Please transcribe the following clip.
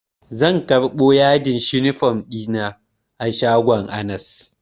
Gobe zan karɓo yadin shifom ɗina na shagon anas